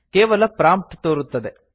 ಕೇವಲ ಪ್ರಾಂಪ್ಟ್ ತೋರುತ್ತದೆ